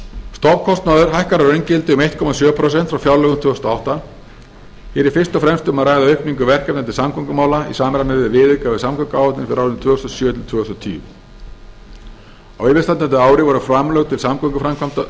stofnkostnaður hækkar að raungildi um einn komma sjö prósent frá fjárlögum tvö þúsund og átta hér er fyrst og fremst um að ræða aukningu verkefna til samgöngumála í samræmi við viðauka við samgönguáætlun fyrir árin tvö þúsund og sjö til tvö þúsund og tíu á yfirstandandi ári voru framlög til samgönguframkvæmda